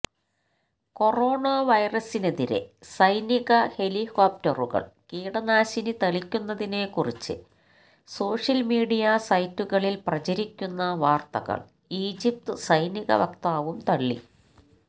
corona വൈറസിനെതിരെ സൈനിക ഹെലികോപ്റ്ററുകൾ കീടനാശിനി തളിക്കുന്നതിനെക്കുറിച്ച് സോഷ്യൽ മീഡിയ സൈറ്റുകളിൽ പ്രചരിക്കുന്ന വാര്ത്തകള് ഈജിപ്ത് സൈനിക വക്താവും തള്ളി